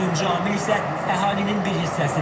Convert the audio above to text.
Dördüncü amil isə əhalinin bir hissəsidir.